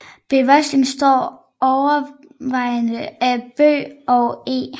Bevoksningen består overvejende af bøg og eg